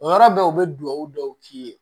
O yɔrɔ bɛ u bɛ duwawu dɔw k'i ye